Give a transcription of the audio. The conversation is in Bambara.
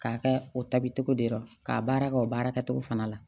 K'a kɛ o tabi cogo di dɔrɔn k'a baara kɛ o baarakɛcogo fana la